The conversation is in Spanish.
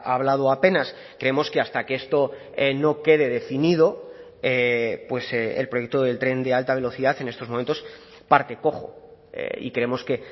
hablado apenas creemos que hasta que esto no quede definido el proyecto del tren de alta velocidad en estos momentos parte cojo y creemos que